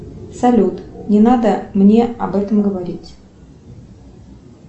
салют не надо мне об этом говорить